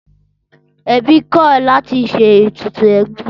Ẹbí kọ̀ láti ṣe ètùtù ẹbí